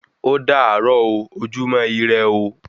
Ódàárọ̀ o, ojúmọ́ irẹ ooo